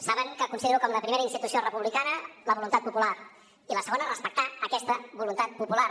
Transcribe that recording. saben que considero com la primera institució republicana la voluntat popular i la segona respectar aquesta voluntat popular